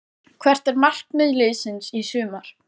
Hvert er markmið liðsins í sumar?